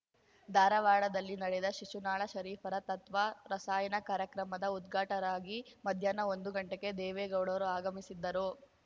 ಧಾರವಾಡದಲ್ಲಿ ನಡೆದ ಶಿಶುನಾಳ ಶರೀಫರ ತತ್ವ ರಸಾಯನ ಕಾರ್ಯಕ್ರಮದ ಉದ್ಘಾಟಕರಾಗಿ ಮಧ್ಯಾಹ್ನ ಒಂದು ಗಂಟೆಗೆ ದೇವೇಗೌಡರು ಆಗಮಿಸಿದ್ದರು